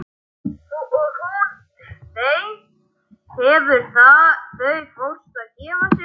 Og hún þeim þegar þau fóru að gefa sig.